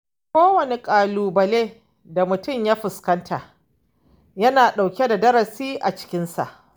Kowane ƙalubale da mutum ya fuskanta yana ɗauke da darasi a cikinsa.